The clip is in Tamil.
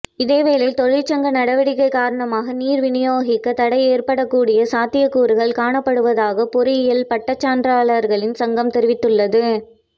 இதேவேளை தொழிற்சங்க நடவடிக்கை காரணமாக நீர்விநியோகத் தடை ஏற்படக் கூடிய சாத்தியக்கூறுகள் காணப்படுவதாக பொறியியல் பட்டச்சான்றாளர்களின் சங்கம் தெரிவித்துள்ளது